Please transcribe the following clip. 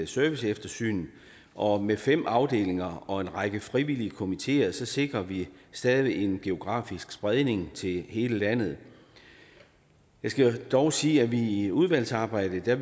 serviceeftersyn og med fem afdelinger og en række frivillige komiteer sikrer vi stadig en geografisk spredning til hele landet jeg skal dog sige at vi i udvalgsarbejdet